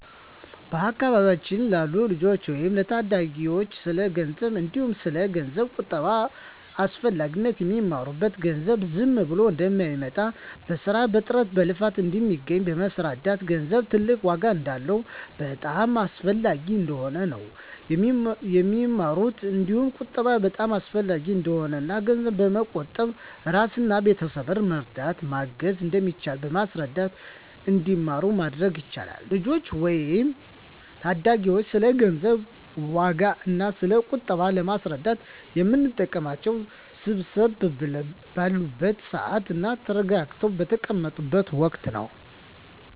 በአካባቢያችን ላሉ ልጆች ወይም ለታዳጊዎች ስለ ገንዘብ እንዲሁም ስለ ገንዘብ ቁጠባ አስፈላጊነት የሚማሩት ገንዘብ ዝም ብሎ እንደማይመጣ በስራ በጥረት በልፋት እንደሚገኝ በማስረዳት ገንዘብ ትልቅ ዋጋ እንዳለውና በጣም አስፈላጊ እንደሆነ ነው የሚማሩት እንዲሁም ቁጠባ በጣም አሰፈላጊ እንደሆነና እና ገንዘብ በመቆጠብ እራስንና ቤተሰብን መርዳት እና ማገዝ እንደሚቻል በማስረዳት እንዲማሩ ማድረግ ይቻላል። ልጆችን ወይም ታዳጊዎችን ስለ ገንዘብ ዋጋ እና ስለ ቁጠባ ለማስረዳት የምንጠቀመው ሰብሰብ ባሉበት ስዓት እና ተረጋግተው በተቀመጡት ወቀት ነው።